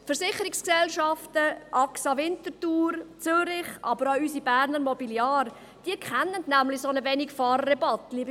Die Versicherungsgesellschaften Axa Winterthur, Zürich, aber auch unsere Berner Mobiliar kennen nämlich einen solchen Wenigfahrerrabatt.